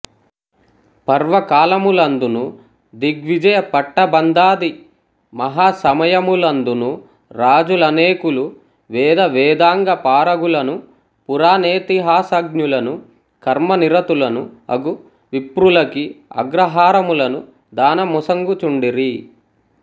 పర్వకాలములందును దిగ్విజయ పట్టబంధాది మహాసమయములందును రాజులనేకులు వేదవేదాంగపారగులను పురాణేతిహాసాజ్ఞులను కర్మనిరతులను అగు విప్రులకీ అగ్రహారములను దానమొసంగుచుండిరి